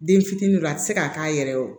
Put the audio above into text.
Den fitiniw a tɛ se ka k'a yɛrɛ ye